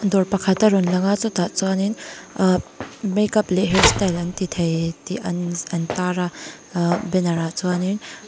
dawr pakhat a rawn lang a chutah chuan in ahh make up leh hairstyle anti thei tih an an tar a ahh banner ah chuan in--